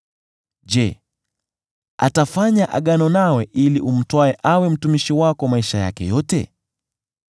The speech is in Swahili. Je, atafanya agano nawe ili umtwae awe mtumishi wako maisha yake yote?